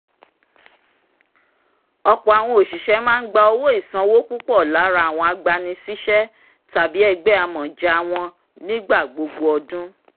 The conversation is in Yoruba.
ọ̀pọ̀ àwọn oṣiṣẹ̀ máa ń gba owó ìsanwó púpọ̀ lára àwọn agbanisiṣẹ tàbí ẹgbẹ́ amọ̀ja wọn nígbà gbogbo ọdún